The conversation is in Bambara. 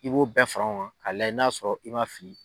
I b'o bɛɛ fara ɲɔgɔn k'a lajɛ n'a y'a sɔrɔ i man fili.